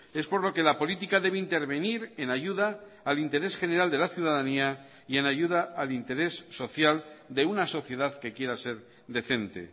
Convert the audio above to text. es por lo que la política debe intervenir en ayuda al interés general de la ciudadanía y en ayuda al interés social de una sociedad que quiera ser decente